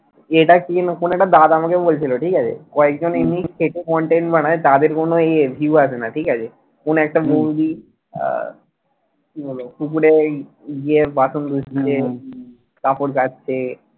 এটা কি যেন কোন একটা দাদা আমাকে বলছিল ঠিক আছে কয়েক জন এমনি খেটে content বানায় তাদের কোনও view আসেনা ঠিক আছে কোন একটা movie পুকুরে গিয়ে বাসন ধুচ্ছে কাপড় কাচছে